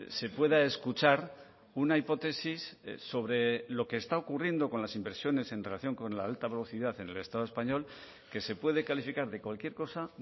se pueda escuchar una hipótesis sobre lo que está ocurriendo con las inversiones en relación con la alta velocidad en el estado español que se puede calificar de cualquier cosa